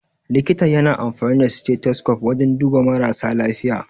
Likita ya na amfani da stethoscope wajan duba marasa lafiya.